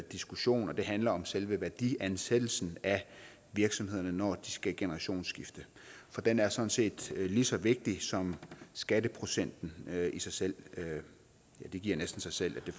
diskussion det handler om selve værdiansættelsen af virksomhederne når de skal generationsskifte for den er sådan set lige så vigtig som skatteprocenten i sig selv det giver næsten sig selv at det